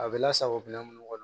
A bɛ lasago minɛn minnu kɔnɔ